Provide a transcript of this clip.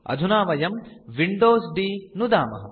अधुना वयं Windows D नुदामः